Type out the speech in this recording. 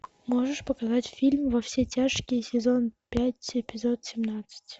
можешь показать фильм во все тяжкие сезон пять эпизод семнадцать